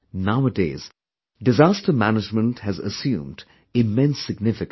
Nowadays, disaster management has assumed immense significance